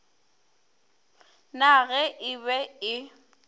na ge e be e